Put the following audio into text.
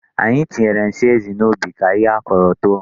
Anyị tinyere nsị ezi n'ubi ka ihe a kaọrọ too.